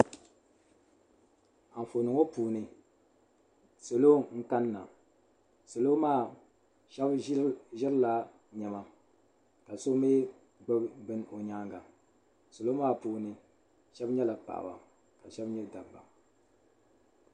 Anfooni ŋɔ puuni salo n kanna salo maa sheba ʒirilla niɛma ka so mee gbibi bini o nyaanga salo maa puuni sheba nyɛla paɣaba ka sheba nyɛ dabba.